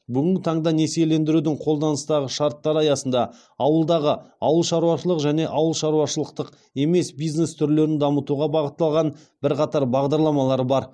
бүгінгі таңда несиелендірудің қолданыстағы шарттары аясында ауылдағы ауыл шаруашылығы және ауыл шаруашылықтық емес бизнес түрлерін дамытуға бағытталған бірқатар бағдарламалар бар